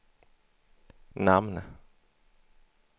namn